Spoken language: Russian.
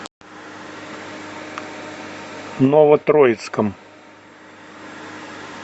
новотроицком